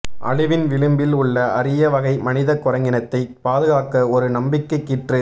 அழிவின் விளிம்பில் உள்ள அரிய வகை மனித குரங்கினத்தை பாதுகாக்க ஒரு நம்பிக்கை கீற்று